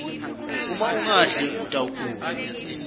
uma ungadli utawgula